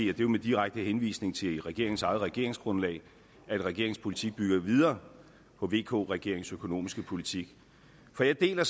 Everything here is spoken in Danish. er jo med direkte henvisning til regeringens eget regeringsgrundlag at regeringens politik bygger videre på vk regeringens økonomiske politik for jeg deler